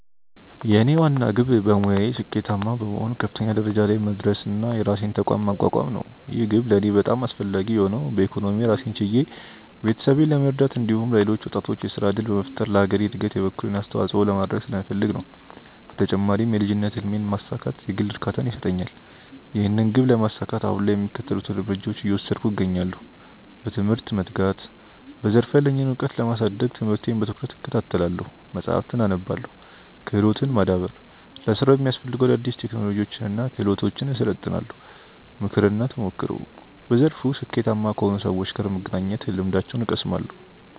የኔ ዋና ግብ በሙያዬ ስኬታማ በመሆን ከፍተኛ ደረጃ ላይ መድረስና የራሴን ተቋም ማቋቋም ነው። ይህ ግብ ለእኔ በጣም አስፈላጊ የሆነው በኢኮኖሚ ራሴን ችዬ ቤተሰቤን ለመርዳት እንዲሁም ለሌሎች ወጣቶች የሥራ ዕድል በመፍጠር ለሀገሬ ዕድገት የበኩሌን አስተዋጽኦ ለማድረግ ስለምፈልግ ነው። በተጨማሪም የልጅነት ሕልሜን ማሳካት የግል እርካታን ይሰጠኛል። ይህንን ግብ ለማሳካት አሁን ላይ የሚከተሉትን እርምጃዎች እየወሰድኩ እገኛለሁ፦ በትምህርት መትጋት፦ በዘርፉ ያለኝን ዕውቀት ለማሳደግ ትምህርቴን በትኩረት እከታተላለሁ፣ መጻሕፍትን አነባለሁ። ክህሎትን ማዳበር፦ ለሥራው የሚያስፈልጉ አዳዲስ ቴክኖሎጂዎችንና ክህሎቶችን እሰለጥናለሁ። ምክርና ተሞክሮ፦ በዘርፉ ስኬታማ ከሆኑ ሰዎች ጋር በመገናኘት ልምዳቸውን እቀስማለሁ።